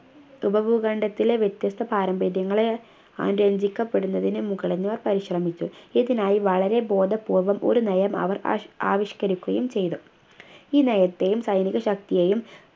ഉപഭൂഖണ്ഡത്തിലെ വ്യത്യസ്ത പാരമ്പര്യങ്ങളെ അനുരഞ്ജിക്കപ്പെടുന്നതിന് മുഗളന്മാർ പരിശ്രമിച്ചു ഇതിനായി വളരെ ബോധപൂർവ്വം ഒരു നയം അവർ ആവിഷ്കരിക്കുകയും ചെയ്തു ഈ നയത്തെയും സൈനികശക്തിയെയും